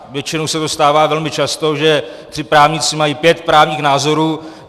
Většinou se to stává velmi často, že tři právníci mají pět právních názorů.